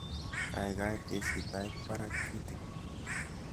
Gaigai teshi Tait Barak kitigin